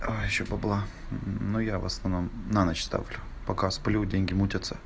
а ещё бабла но я в основном на ночь ставлю пока сплю деньги мутятся